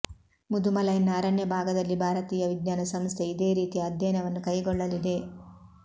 ಮುದುಮಲೈನ ಅರಣ್ಯ ಭಾಗದಲ್ಲಿ ಭಾರತೀಯ ವಿಜ್ಞಾನ ಸಂಸ್ಥೆ ಇದೇ ರೀತಿಯ ಅಧ್ಯಯನವನ್ನು ಕೈಗೊಳ್ಳಲಿದೆ